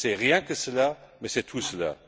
Ce n'est rien que cela, mais c'est tout cela.